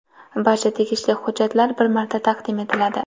Barcha tegishli hujjatlar bir marta taqdim etiladi.